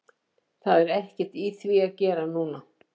Það er ekkert í því að gera núna.